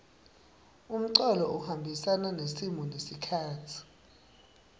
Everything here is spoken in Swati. umculo uhambisana nesimo nesikhatsi